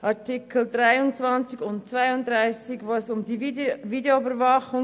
In den Artikeln 23 und 32 geht es um die Videoüberwachung.